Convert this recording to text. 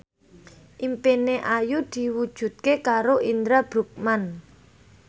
impine Ayu diwujudke karo Indra Bruggman